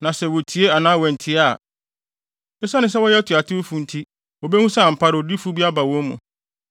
Na sɛ wotie anaa wɔantie a, esiane sɛ wɔyɛ atuatewfo nti, wobehu ampa ara sɛ odiyifo bi aba wɔn mu.